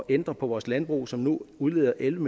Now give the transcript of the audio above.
ændre på vores landbrug som nu udleder elleve